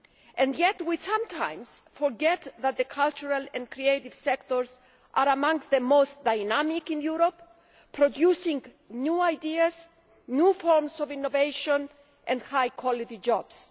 And yet we sometimes forget that the cultural and creative sectors are among the most dynamic in Europe, producing new ideas, new forms of innovation and high quality jobs.